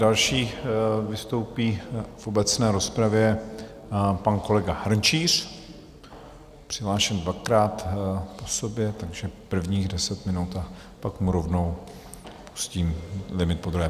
Další vystoupí v obecné rozpravě pan kolega Hrnčíř, přihlášen dvakrát po sobě, takže prvních deset minut a pak mu rovnou pustím limit podruhé.